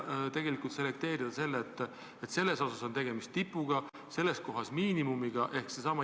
Oleks üks test ja sellega saaks välja selekteerida, kelle puhul on tegemist tipuga, kelle puhul miinimumteadmistega.